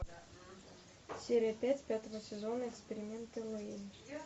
серия пять пятого сезона эксперименты лэйн